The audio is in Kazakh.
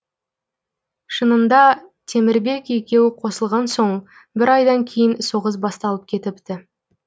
шынында темірбек екеуі қосылған соң бір айдан кейін соғыс басталып кетіпті